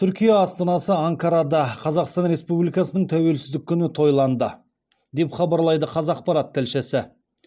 түркия астанасы анкарада қазақстан республикасының тәуелсіздік күні тойланды деп хабарлайды қазақпарат тілшісі